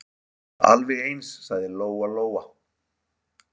Alveg eins, sagði Lóa-Lóa.